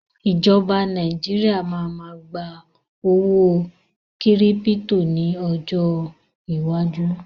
Ìjọba ilẹ̀ Nàìjíríà máa ma gba owó kírípítò ni ọjọ́ iwájú